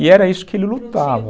E era isso que ele lutava.